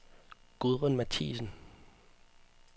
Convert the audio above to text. Gudrun Mathiesen